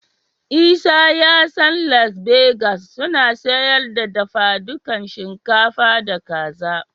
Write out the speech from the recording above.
Isa ya san Las Begas suna siyar da dafadukan shinkafa da Kaza.